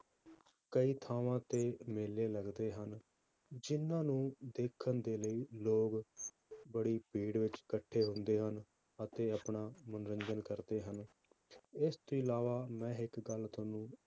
ਕਈ ਥਾਵਾਂ ਤੇ ਮੇਲੇ ਲੱਗਦੇ ਹਨ, ਜਿੰਨਾਂ ਨੂੰ ਦੇਖਣ ਦੇ ਲਈ ਲੋਕ ਬੜੀ ਭੀੜ ਵਿੱਚ ਇਕੱਠੇ ਹੁੰਦੇ ਹਨ, ਅਤੇ ਆਪਣਾ ਮਨੋਰੰਜਨ ਕਰਦੇ ਹਨ, ਇਸ ਤੋਂ ਇਲਾਵਾ ਮੈਂ ਇੱਕ ਗੱਲ ਤੁਹਾਨੂੰ